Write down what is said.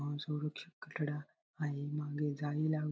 असुरक्षित कठडा आहे मागे जाळी लाव --